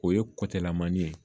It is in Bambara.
O ye kɔkɛlan man ɲi